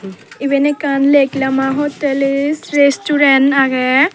eben ekkan lenglama hotel is restaurant agey.